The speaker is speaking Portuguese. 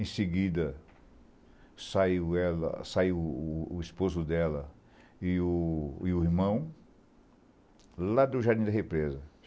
Em seguida, saiu ela saiu o o esposo dela e o e o irmão lá do Jardim da Represa.